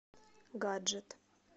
гаджет